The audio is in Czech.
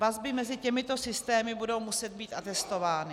Vazby mezi těmito systémy budou muset být atestovány.